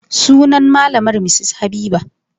Sunan malamar Mrs Habiba.